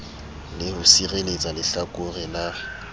le ho sireletsa lehlakore la